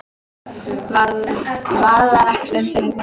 Varðar ekkert um þau lengur.